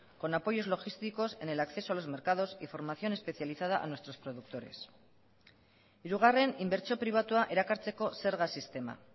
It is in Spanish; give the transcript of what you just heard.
con apoyos logísticos en el acceso a los mercados y formación especializada a nuestros productores hirugarren inbertsio pribatua erakartzeko zerga sistema